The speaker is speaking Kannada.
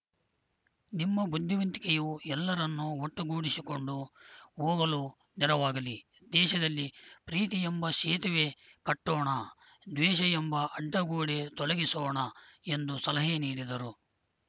ನಿಮ್ಮ ಬುದ್ಧಿವಂತಿಕೆಯು ಎಲ್ಲರನ್ನೂ ಒಟ್ಟುಗೂಡಿಸಿಕೊಂಡು ಹೋಗಲು ನೆರವಾಗಲಿ ದೇಶದಲ್ಲಿ ಪ್ರೀತಿ ಎಂಬ ಸೇತುವೆ ಕಟ್ಟೋಣ ದ್ವೇಷ ಎಂಬ ಅಡ್ಡಗೋಡೆ ತೊಲಗಿಸೋಣ ಎಂದು ಸಲಹೆ ನೀಡಿದರು